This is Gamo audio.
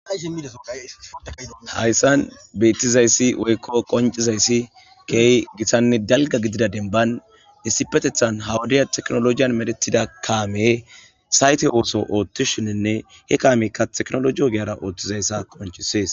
iidaaa hayssan beettizayssi woykko qoncizayssi keey gitanne dalga gidida denban issipetethan hawudiya teknologiyan medetida kaame sayte ooso ooththi shinninne he kaameykka teknoloiyo geara ooththizayssa konchisees